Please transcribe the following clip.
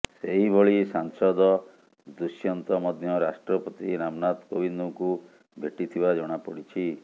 ସେହି ଭଳି ସାଂସଦ ଦୁଷ୍ୟନ୍ତ ମଧ୍ୟ ରାଷ୍ଟ୍ରପତି ରାମନାଥ କୋବିନ୍ଦଙ୍କୁ ଭେଟିଥିବା ଜଣାପଡିଛି